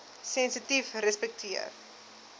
sensitiefrespekteer